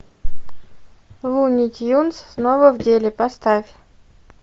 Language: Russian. луни тюнз снова в деле поставь